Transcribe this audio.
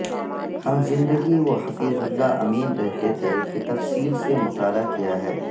ہم زندگی وہ حفیظ اللہ امین رہتے تھے کہ تفصیل سے مطالعہ کیا ہے